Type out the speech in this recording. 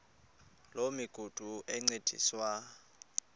loo migudu encediswa